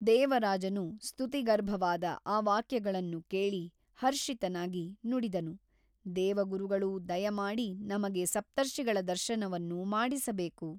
ದೇವರಾಜನು ಸ್ತುತಿಗರ್ಭವಾದ ಆ ವಾಕ್ಯಗಳನ್ನು ಕೇಳಿ ಹರ್ಷಿತನಾಗಿ ನುಡಿದನು ದೇವಗುರುಗಳು ದಯಮಾಡಿ ನಮಗೆ ಸಪ್ತರ್ಷಿಗಳ ದರ್ಶನವನ್ನು ಮಾಡಿಸಬೇಕು.